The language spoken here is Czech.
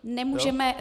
Nemůžeme.